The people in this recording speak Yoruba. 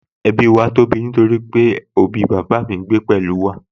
Ẹbí wa tóbi nítorí àwọn òbí bàbá mi ń gbé pẹ̀lú wa